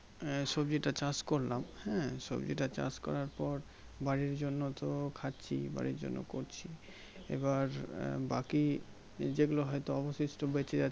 সবজি টা চাষ করলাম হ্যাঁ সব্জিটা চাষ করার পর বাড়ির জন্য তো খাচ্ছি বাড়ির জন্য করছি এবার আহ বাকি যেগুলো হয়তো অবশিষ্ট বেঁচে